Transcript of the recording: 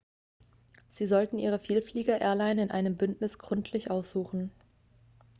sie sollten ihre vielflieger-airline in einem bündnis gründlich aussuchen